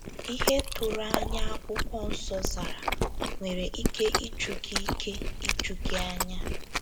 Ihe doro anya akwụkwọ nsọ zara nwere ike iju gị ike iju gị anya.